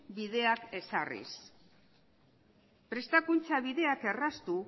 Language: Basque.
bideak ezarriz prestakuntza bideak erraztu